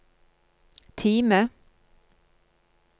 Time